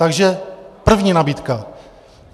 Takže první nabídka.